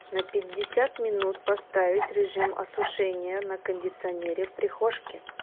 на пятьдесят минут поставить режим осушения на кондиционере в прихожке